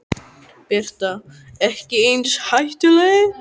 Birta: Ekki eins hættuleg?